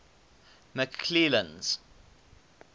mcclennan's